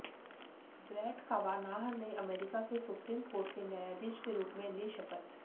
bread Kavanaugh ने America के supreme court के न्यायाधीश के रूप में ली शपथ